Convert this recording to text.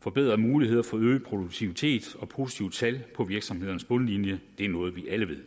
forbedrer muligheden for øget produktivitet og positive tal på virksomhedernes bundlinje det er noget vi alle ved